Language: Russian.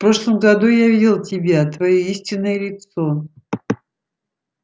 в прошлом году я видел тебя твоё истинное лицо